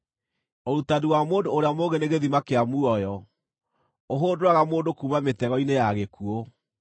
Ũrutani wa mũndũ ũrĩa mũũgĩ nĩ gĩthima kĩa muoyo, ũhũndũraga mũndũ kuuma mĩtego-inĩ ya gĩkuũ.